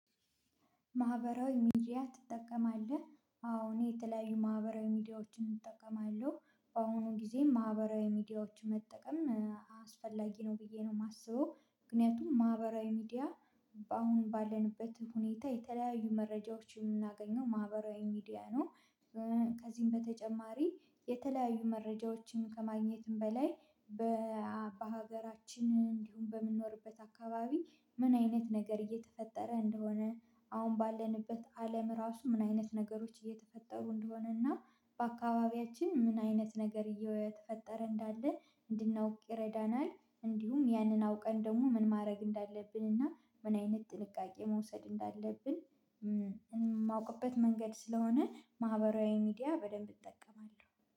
ማህበራዊ ሚዲያ ትጠቀማለህ? አዎ እኔ የተለያዩ ማህበራዊ ሚዲያዎችን እጠቀማለሁ በአሁኑ ጊዜ ማህበራዊ ሚዲያዎችን መጠቀም አስፈላጊ ነው ብዬ ነው የማስበው ምክንያቱም ማህበራዊ ሚዲያ አሁን ባለንበት ሁኔታ የተለያዩ መረጃዎች የምናገኘው ማህበራዊ ሚዲያ ነው። ከዚህም በተጨማሪ የተለያዩ መረጃዎችን ከማግኘትም በላይ። በሀገራችን እንዲሁም በምንኖርበት አካባቢ ምን አይነት ነገር እየተፈጠረ እንደሆነ አሁን ባለንበት አለም ራሱ ምን አይነት ነገሮች እየተፈጠሩ እንደሆነና በአካባቢያችን ምን አይነት ነገር እየተፈጠረ እንዳለ እንድናውቅ ይረዳናል። እንዲሁም ያንን አውቀን ደግሞ ምን ማድረግ እንዳለብን እና ምን አይነት ጥንቃቄ መውሰድ እንዳለብን የማውቅበት መንገድ ስለሆነ ማህበራዊ ሚዲያ በደንብ እጠቀማለሁ